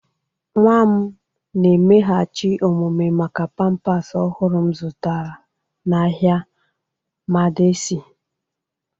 Nwa m na-emeghachi omume maka pampers ọhụrụ m zụtara n'ahịa madaci.